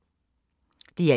DR1